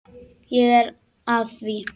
Ég er að því.